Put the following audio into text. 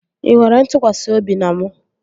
Ị nwere ntụkwasị obi na mụ?